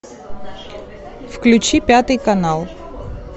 включи пятый канал